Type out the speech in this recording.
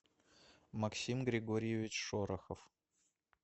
максим григорьевич шорохов